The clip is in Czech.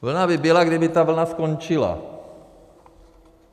Vlna by byla, kdyby ta vlna skončila.